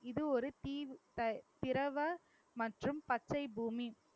இது ஒரு தீவு த~ திரவ மற்றும் பச்சை பூமி